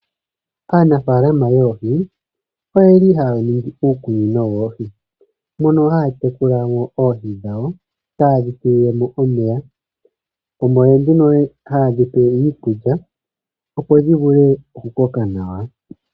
Aanafalama yoohi oye li haya ningi uukunino woohi. Mono haya tekula mo oohi dhawo taye dhi tulile mo omeya. Omo nduno haye dhi pele mo iikulya, opo dhi vule okukoka nawa.